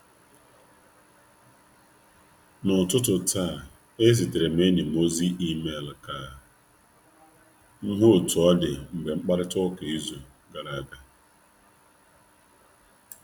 Ezigara m enyi m ozi email n'ụtụtụ a naanụ i ji hu ka ọ dị kamgbe anyi kpachara n'izu ụka gara aga.